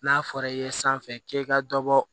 N'a fɔra i ye sanfɛ k'i ka dɔ bɔ